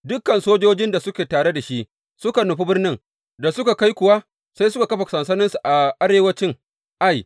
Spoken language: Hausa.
Dukan sojojin da suke tare da shi suka nufi birnin, da suka kai kuwa sai suka kafa sansaninsu a arewancin Ai.